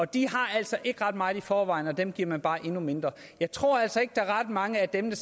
de har altså ikke ret meget i forvejen og dem giver man bare endnu mindre jeg tror altså ikke at der er ret mange af dem